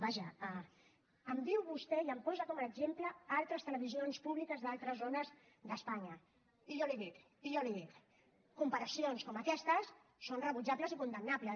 vaja em diu vostè i em posa com un exemple altres televisions públiques d’altres zones d’espanya i jo li dic i jo li dic comparacions com aquestes són rebutjables i condemnables